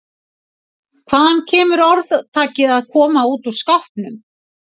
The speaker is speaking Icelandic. Hvaðan kemur orðtakið að koma út úr skápnum?